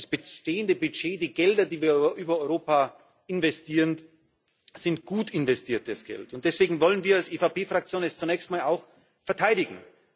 Das bestehende Budget, die Gelder, die wir über Europa investieren, sind gut investiertes Geld, und deswegen wollen wir es als EVP Fraktion zunächst einmal auch verteidigen.